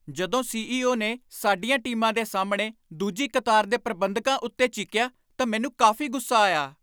ਜਦੋਂ ਸੀ.ਈ.ਓ. ਨੇ ਸਾਡੀਆਂ ਟੀਮਾਂ ਦੇ ਸਾਹਮਣੇ ਦੂਜੀ ਕਤਾਰ ਦੇ ਪ੍ਰਬੰਧਕਾਂ ਉੱਤੇ ਚੀਕਿਆ ਤਾਂ ਮੈਨੂੰ ਕਾਫ਼ੀ ਗੁੱਸਾ ਆਇਆ।